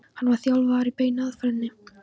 hann var þjálfaður í beinu aðferðinni.